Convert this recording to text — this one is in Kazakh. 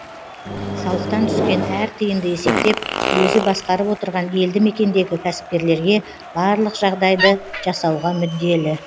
салықтан түскен әр тиынды есептеп өзі басқарып отырған елді мекендегі кәсіпкерлерге барлық жағдайды жасауға мүдделі